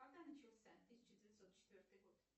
когда начался тысяча девятьсот четвертый год